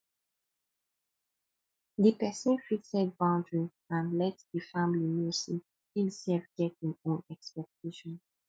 di person fit set boundary and let di family know sey im sef get im own expectation